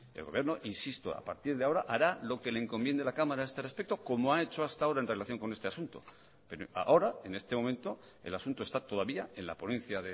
el gobierno insisto hará lo que le encomiende la cámara a este respecto como ha hecho hasta ahora en relación con este asunto pero ahora en este momento el asunto está todavía en la ponencia